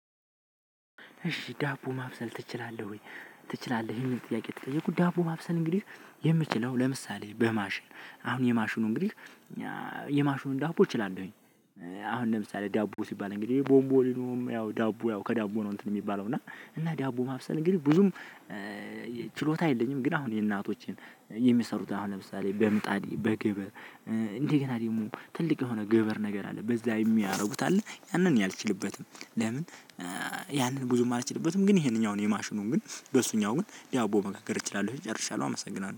እሺ ዳቦ ማብሰል ትችላለህ ወይ? ትችላለህ የሚል ጥያቄ ተጠየኩ ዳቦ ማብሰል እንግዲህ የምችለው ለምሳሌ በማሽን አሁን የማሽኑ እንግዲህ የማሽኑን ዳቦ እችላለሁኝ። አሁን ለምሳሌ ዳቦ ሲባል እንግዲህ ቦምቦሊኖም ያው ዳቦ ያው ከዳቦ ነው እንትን የሚባለው እና እና ዳቦ ማብሰል እንግዲህ ብዙም ችሎታ የለኝም። ግን አሁን የእናቶችን የሚሰሩት አሁን ለምሳሌ በምጣድ በግብር እንደ ገና ደግሞ ትልቅ የሆነ ግብር ነገር አለ በዛ የሚያደርጉት አለ። ያንን እኔ አልችልበትም። ለምን? ያንን ብዙም አልችልበትም ግን ይሄንኛውን የማሽኑን ግን በሱኛው ግን ዳቦ መጋገር እችላለሁ ጨርሻለው። አመሰግናለሁ